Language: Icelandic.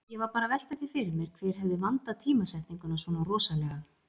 Ég var bara að velta því fyrir mér hver hefði vandað tímasetninguna svona rosalega.